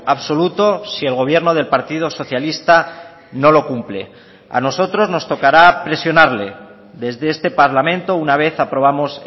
absoluto si el gobierno del partido socialista no lo cumple a nosotros nos tocará presionarle desde este parlamento una vez aprobamos